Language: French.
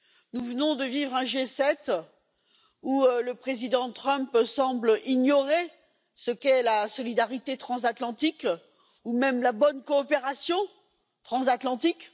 Nous venons de vivre un G7 où le président Trump semble ignorer ce qu'est la solidarité transatlantique ou même la bonne coopération transatlantique.